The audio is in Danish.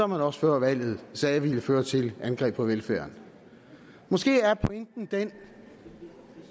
man også før valget sagde ville føre til angreb på velfærden måske er pointen den